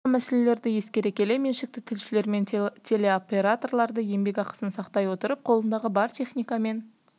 жоғарыда аталған мәселелерді ескере келе меншікті тілшілер мен телеоператорларды еңбек ақысын сақтай отырып қолындағы бар техникамен